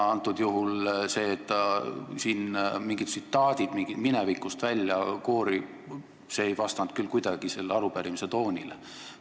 Antud juhul see, et siin mingid tsitaadid minevikust välja kooriti, ei vastanud kuidagi selle arupärimise toonile.